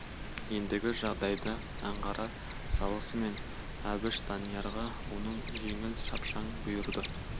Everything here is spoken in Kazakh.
ендігі жайды аңғара салысымен әбіш даниярға оның жеңіл шапшаң бұйырды